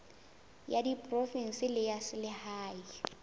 ya diprovense le ya selehae